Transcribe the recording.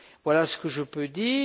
Voilà ce que je peux dire.